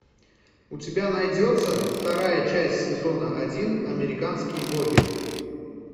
у тебя найдется вторая часть сезона один американские боги